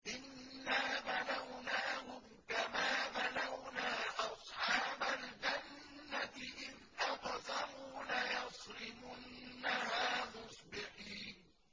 إِنَّا بَلَوْنَاهُمْ كَمَا بَلَوْنَا أَصْحَابَ الْجَنَّةِ إِذْ أَقْسَمُوا لَيَصْرِمُنَّهَا مُصْبِحِينَ